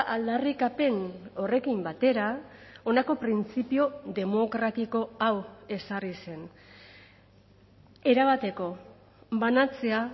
aldarrikapen horrekin batera honako printzipio demokratiko hau ezarri zen erabateko banatzea